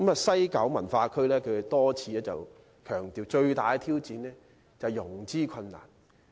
西九管理局已多次強調，最大的挑戰是融資困難。